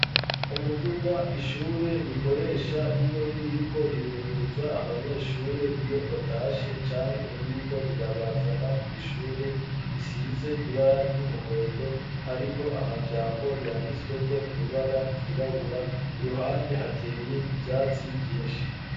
Umuduga, ishure rikoresha iyo ririko rirunguruza abanyeshure, iyo batashe canke ririko rirabazana kw' ishure, risize ibara ry'umuhondo ,hariko amajambo yanditswe ko mwibara ryirabura, iruhande hateye ivyatsi vyinshi.